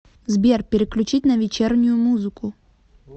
сбер переключить на вечернюю музыку